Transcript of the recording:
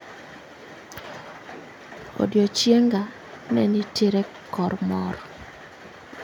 Odiechienga ne nitiere kor mor